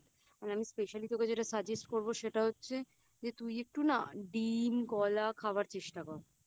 যে তুই একটু না ডিম কলা খাওয়ার চেষ্টা কর